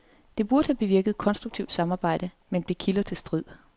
Det burde have bevirket konstruktivt samarbejde, men blev kilder til strid.